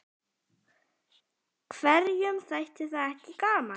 Hverjum þætti það ekki gaman?